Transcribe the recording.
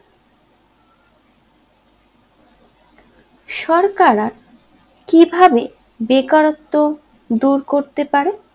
সরকাররা কিভাবে বেকারত্ব দূর করতে পারে